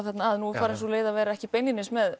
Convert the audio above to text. þarna að nú er farin sú leið að vera ekki beinlínis með